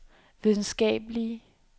videnskabelige